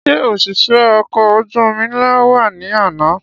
Ṣé òṣìṣẹ́ ọkọ̀ ojú omi ńlá náà wá ní àná?